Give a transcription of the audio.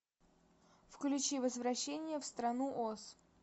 включи возвращение в страну оз